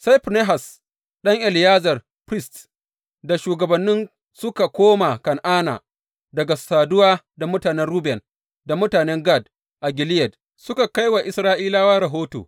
Sai Finehas ɗan Eleyazar, firist, da shugabannin suka koma Kan’ana daga saduwa da mutanen Ruben da mutanen Gad a Gileyad, suka kai wa Isra’ilawa rahoto.